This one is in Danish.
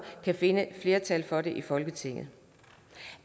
kan finde flertal for det i folketinget det